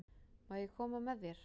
Má ég koma með þér?